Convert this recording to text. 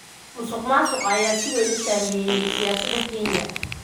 Musuqmaasuqa ayaa si weyn u saameeya siyaasadda Kenya.